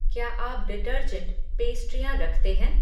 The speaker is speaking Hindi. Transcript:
क्या आप डिटर्जेंट, पेस्ट्रियाँ रखते हैं?